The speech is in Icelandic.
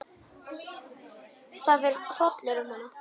Það fer hrollur um hann.